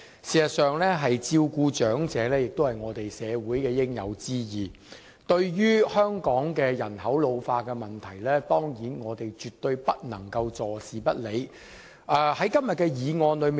事實上，照顧長者是社會的應有之義，對於香港人口老化的問題，我們當然絕對不能夠坐視不理。